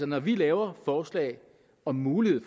når vi laver forslag om mulighed